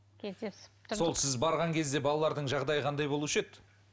кездесіп сол сіз барған кезде балалардың жағдайы қандай болушы еді